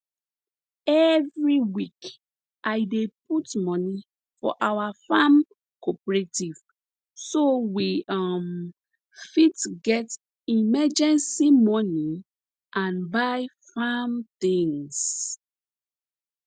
every week i dey put money for our farm cooperative so we um fit get emergency money and buy farm tings